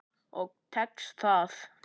Og tekst það.